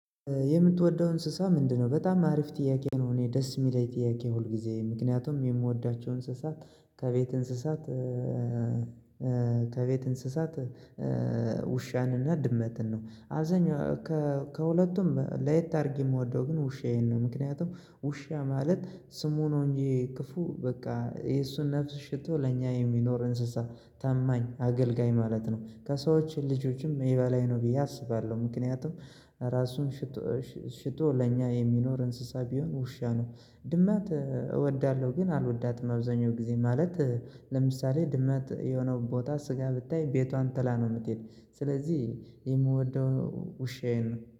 የምትወደው እንስሳ ምንድነው? በጣም አሪፍ ጥያቄ ነው እኔ ደስ የሚለኝ ጥያቄ ሁልጊዜ ምክንያቱም የምወዳቸው እንስሳት ከቤት እንስሳት ከቤት እንስሳት ውሻንና ድመትን ነው። አብዛኛው ከሁለቱም ለየት አድርጌ የምወደው ግን ውሻዬን ነው። ምክንያቱም ውሻ ማለት ስሙ ነው እንጂ ክፉ በቃ የእሱን ነፍስ ሽጦ ለእኛ የሚኖር እንስሳ ታማኝ አገልጋይ ማለት ነው። ከሰዎች ልጆችም የበላይ ነው ብዬ አስባለሁ። ምክንያቱም ራሱን ሽጦ ለእኛ የሚኖር እንስሳ ቢኖር ውሻ ነው። ድመት እወዳለሁ ግን አልወዳትም አብዛኛው ጊዜ ማለት። ለምሳሌ ድመት የሆነ ቦታ ስጋ ብታይ ቤቷን ጥላ ነው። የምትሄድ ስለዚህ የምወደው ውሻዬን